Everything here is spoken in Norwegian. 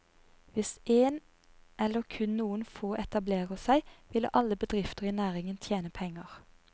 Hvis èn eller kun noen få etablerer seg, vil alle bedrifter i næringen tjene penger.